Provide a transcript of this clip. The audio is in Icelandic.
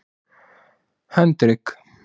Hendrik